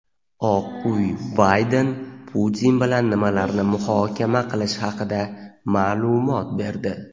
Oq uy Bayden Putin bilan nimalarni muhokama qilishi haqida maʼlumot berdi.